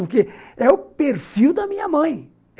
Porque é o perfil da minha mãe.